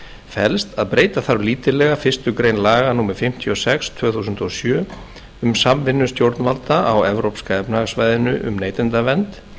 felst að breyta þarf lítillega fyrstu grein laga númer fimmtíu og sex tvö þúsund og sjö um samvinnu stjórnvalda á evrópska efnahagssvæðinu um neytendavernd